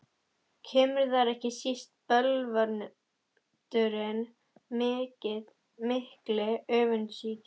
Kemur þar ekki síst til bölvaldurinn mikli, öfundsýki.